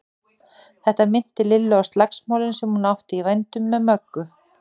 Þetta minnti Lillu á slagsmálin sem hún átti í vændum með Möggu.